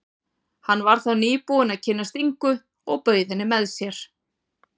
Hann var þá nýbúinn að kynnast Ingu og bauð henni með sér.